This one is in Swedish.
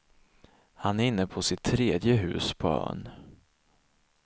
Han är inne på sitt tredje hus på ön.